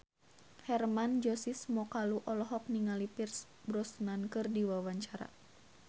Hermann Josis Mokalu olohok ningali Pierce Brosnan keur diwawancara